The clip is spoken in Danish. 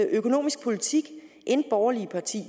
økonomisk politik end borgerlige partier